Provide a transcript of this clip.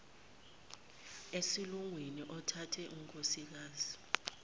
esilungwini othathe unkosikazi